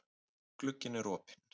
Glugginn er opinn.